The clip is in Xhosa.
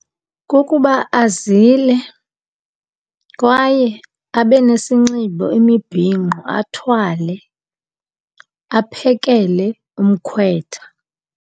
Kukuba azile kwaye abe nesinxibo imibhinqo athwale aphekele umkhwetha.